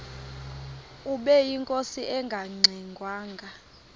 ubeyinkosi engangxe ngwanga